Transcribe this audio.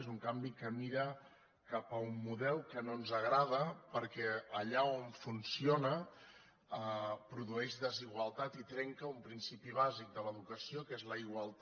és un canvi que mira cap a un model que no ens agrada perquè allà on funcio·na pro dueix desigualtat i trenca un principi bàsic de l’educació que és la igualtat